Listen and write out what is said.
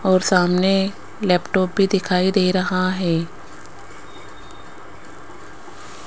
और सामने लैपटॉप भी दिखाई दे रहा है।